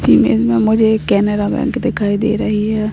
Image में मुझे एक कैनरा बैंक दिखाई दे रही है।